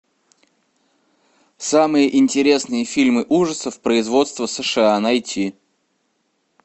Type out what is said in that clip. самые интересные фильмы ужасов производства сша найти